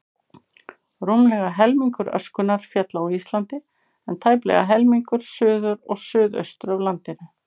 Rúmlega helmingur öskunnar féll á Íslandi, en tæplega helmingur suður og suðaustur af landinu.